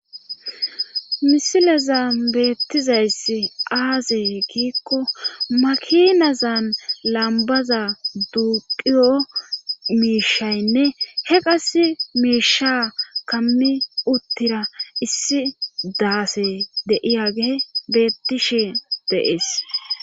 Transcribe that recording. misilezan beettizayss aazee gikko makinazan lambaza duuqiyo miishaynne he qas miisha kammi uttira issi daase de'iyagey beettishe de'ees